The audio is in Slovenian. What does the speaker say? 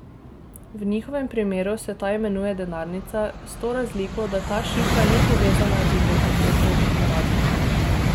V njihovem primeru se ta imenuje denarnica, s to razliko, da ta šifra ni povezana z identiteto uporabnika.